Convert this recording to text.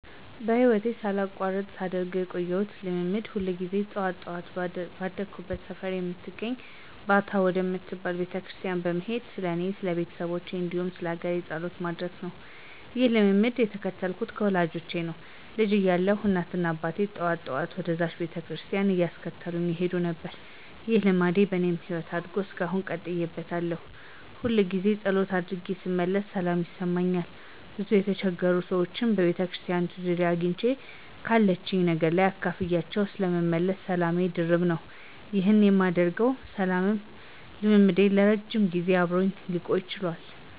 በህይወቴ ሳላቋርጥ ሳደርገው የቆየሁት ልማድ ሁል ጊዜ ጠዋት ጠዋት ባደኩበት ሰፈር ወደምትገኝ ባታ ወደምትባል ቤተክርስቲያን በመሄድ ስለኔ፣ ስለቤተሰቦቼ፣ እንዲሁም ስለሀገሬ ጸሎት ማድረስ ነው። ይህንን ልማድ የተከተልኩት ከወላጆቼ ነው። ልጅ እያለሁ እናትና አባቴ ጠዋት ጠዋት ወደዝችው ቤተክርስቲያን እያስከተሉኝ ይሄዱ ነበር። ይህ ልማድ በኔም ህይወት አድጎ እስካሁን ቀጥዬበታለሁ። ሁልጊዜ ፀሎት አድርጌ ስመለስ ሰላም ይሰማኛል፤ ብዙ የተቸገሩ ሰዎችንም በቤተክርስቲያኒቱ ዙሪያ አግኝቼ ካለችኝ ነገር አካፍያቸው ስለምመለስ ሰላሜ ድርብ ነው። ይህ የማገኘውም ሰላምም ልማዴ ለረጅም ጊዜ አብሮኝ ሊቆይ ችሏል።